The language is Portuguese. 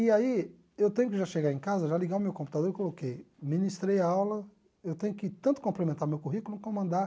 E aí, eu tenho que já chegar em casa, já ligar o meu computador e coloquei, ministrei a aula, eu tenho que tanto complementar o meu currículo como mandar...